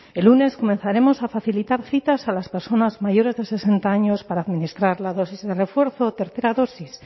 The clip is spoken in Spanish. el lunes comenzaremos a facilitar citas a las personas mayores de sesenta años para administrar la dosis de refuerzo o tercera dosis